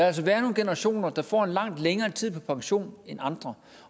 altså være nogle generationer der får en meget længere tid på pension end andre